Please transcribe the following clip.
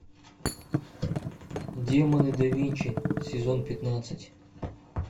демоны да винчи сезон пятнадцать